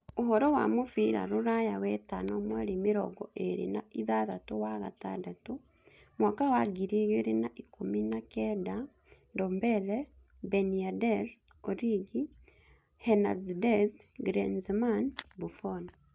Ũhoro wa mũbira rũraya wetano mweri mĩrongo ĩĩrĩ na ithathatũ wa gatandatũ mwaka wa wa ngiri igĩrĩ na ikũmi na kenda: Ndombele, Ben Yedder, Origi, Hernandez, Griezmann, Buffon